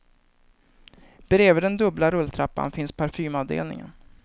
Bredvid den dubbla rulltrappan finns parfymavdelningen.